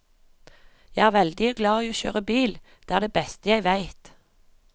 Jeg er veldig glad i å kjøre bil, det er det beste jeg veit.